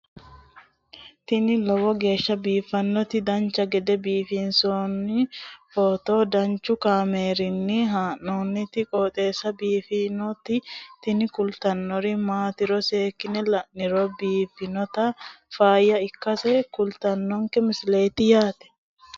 tini lowo geeshsha biiffannoti dancha gede biiffanno footo danchu kaameerinni haa'noonniti qooxeessa biiffannoti tini kultannori maatiro seekkine la'niro biiffannota faayya ikkase kultannoke misileeti yaate